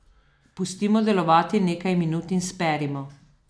Pustimo delovati nekaj minut in sperimo.